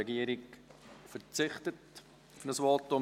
Die Regierung verzichtet auf ein Votum.